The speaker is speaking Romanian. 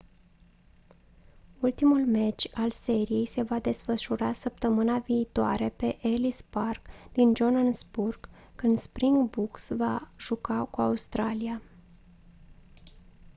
ultimul meci al seriei se va desfășura săptămâna viitoare pe ellis park din johannesburg când springboks va juca cu australia